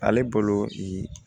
Ale bolo